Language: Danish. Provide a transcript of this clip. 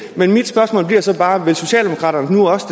det er så bare vil socialdemokraterne nu også